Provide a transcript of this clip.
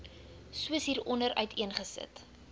soos hieronder uiteengesit